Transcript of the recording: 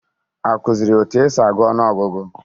Akụziri ya otu esi agụ ọnụ ọgụgụ?